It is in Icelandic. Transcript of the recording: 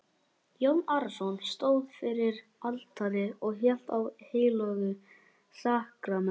Jón Arason stóð fyrir altari og hélt á heilögu sakramenti.